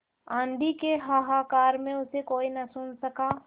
आँधी के हाहाकार में उसे कोई न सुन सका